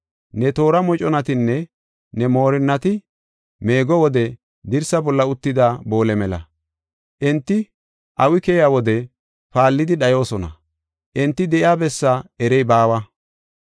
Ne toora moconatinne ne moorinnati meego wode dirsa bolla uttida boole mela. Enti awi keyiya wode paallidi dhayoosona; enti de7iya bessaa erey baawa.